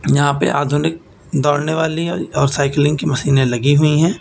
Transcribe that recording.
यहां पे आधुनिक दौड़ने वाली और साइकलिंग की मशीनें लगी हुई हैं।